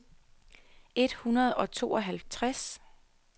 et hundrede og tooghalvtreds